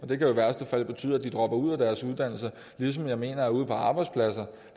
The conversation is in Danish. det kan i værste fald betyde at de dropper ud af deres uddannelse ligesom jeg mener at ude på arbejdspladserne